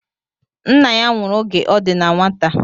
Nna ya nwụrụ oge ọ di na nwata